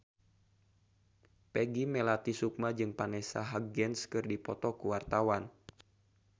Peggy Melati Sukma jeung Vanessa Hudgens keur dipoto ku wartawan